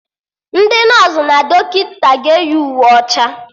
Ndị nọsụ na dọkịta ga-eyigide Uwe ọcha